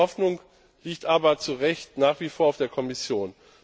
Die große Hoffnung liegt aber zu Recht nach wie vor auf der Kommission.